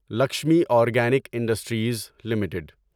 Lakshmi organic industries limited